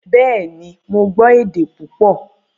Bẹ́ẹ̀ni, mo gbọ́ èdè púpọ̀